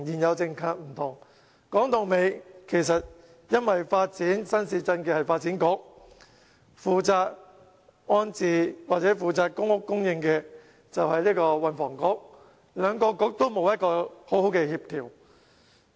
說到底，因為發展新市鎮的是發展局，負責安置或公屋供應的是運輸及房屋局，兩個局沒有好好協調。